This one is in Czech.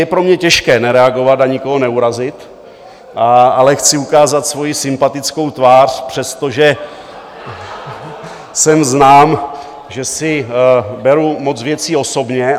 Je pro mě těžké nereagovat a nikoho neurazit, ale chci ukázat svoji sympatickou tvář , přestože jsem znám, že si beru moc věcí osobně.